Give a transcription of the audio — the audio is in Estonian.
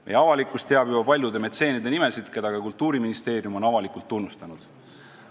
Meie avalikkus teab juba paljude metseenide nimesid, keda ka Kultuuriministeerium on avalikult tunnustanud.